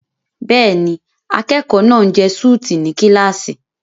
Bẹ́ẹ̀ni, akẹ́kọ̀ọ́ náà ń jẹ súùtì ní kíláàsì.